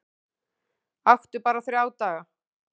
Aktu bara þrjá daga